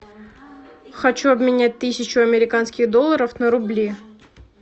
хочу обменять тысячу американских долларов на рубли